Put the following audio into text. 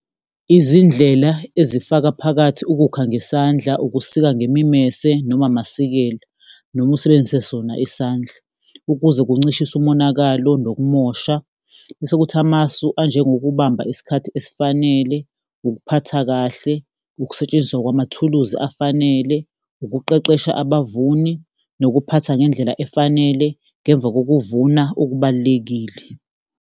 Izindlela ezifaka phakathi ukukha ngesandla, ukusika ngemimese noma amasikela, noma usebenzise sona isandla ukuze kuncishiswe umonakalo nokumosha. Bese kuthi amasu anjengokubamba isikhathi esifanele, ukuphatha kahle, ukusetshenziswa kwamathuluzi afanele, ukuqeqesha abavuni, nokuphatha ngendlela efanele ngemva kokuvuna okubalulekile.